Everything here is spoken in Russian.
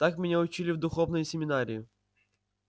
так меня учили в духовной семинарии